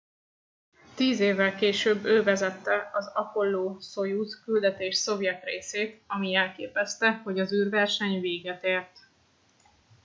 tíz évvel később ő vezette az apollo szojuz küldetés szovjet részét ami jelképezte hogy az űrverseny véget ért